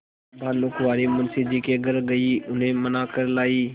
भानुकुँवरि मुंशी जी के घर गयी उन्हें मना कर लायीं